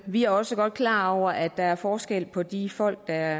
vi er også godt klar over at der er forskel på de folk der